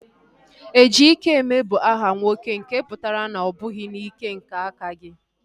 Ejikeme bụ aha nwoke nke pụtara na ọ bụghị n'ike nke aka gị